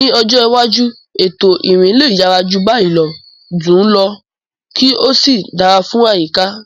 Ní ọjọ́ iwájú, ètò ìrìn lè yára jù báyìí lọ, dùn ún lò, kí ó sì dára fún àyíká.